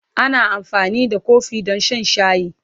Ana amfani da kofi don shan shayi.